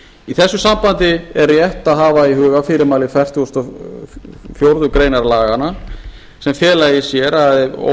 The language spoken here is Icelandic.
í þessu sambandi er rétt að hafa það í huga fyrirmæli fertugasta og fjórðu grein laganna sem fela í sér að ef